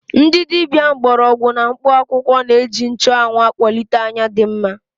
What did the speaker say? Ndị dibia mgbọrọgwụ na mkpụ akwụkwọ na-eji nchụanwụ akwalite anya dị mma.